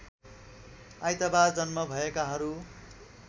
आइतबार जन्म भएकाहरू